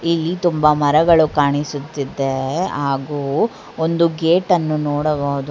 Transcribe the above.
ಇಲ್ಲಿ ತುಂಬ ಮರಗಳು ಕಾಣಿಸುತ್ತಿದ್ದೆ ಹಾಗು ಒಂದು ಗೇಟ್ ಅನ್ನ ನೋಡಬಹುದು.